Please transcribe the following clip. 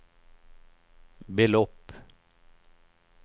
belopp